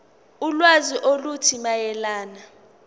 ulwazi oluthile mayelana